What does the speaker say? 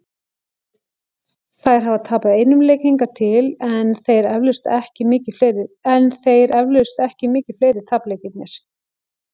Þær hafa tapað einum leik hingað til, en þeir eflaust ekki mikið fleiri- tapleikirnir.